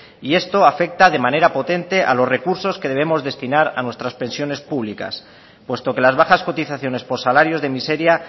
y esto afecta de manera potente a los recursos que debemos destinar a nuestras pensiones públicas puesto que las bajas cotizaciones por salarios de miseria